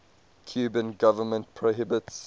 cuban government prohibits